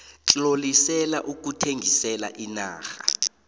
tlolisela ukuthengisela iinarha